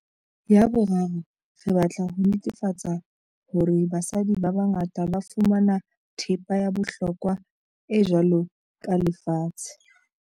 Ya boraro, re batla ho netefa-tsa hore basadi ba bangata ba fumana thepa ya bohlokwa e jwalo ka lefatshe.